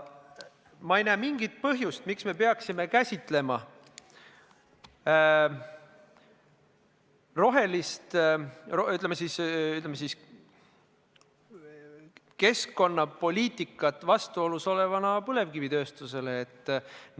Ma ei näe mingit põhjust, miks me peaksime käsitama rohelist keskkonnapoliitikat põlevkivitööstusega vastuolus olevana.